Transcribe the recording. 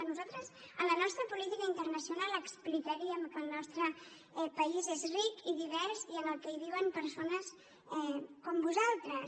nosaltres a la nostra política internacional explicaríem que el nostre país és ric i divers i que hi viuen persones com vosaltres